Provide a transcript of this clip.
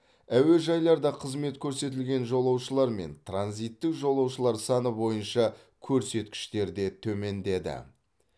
әуежайларда қызмет көрсетілген жолаушылар мен транзиттік жолаушылар саны бойынша көрсеткіштер де төмендеді